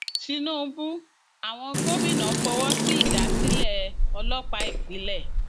tinúbú àwọn gómìnà fọwọ sí ìdásílẹ ọlọpàá ìpínlẹ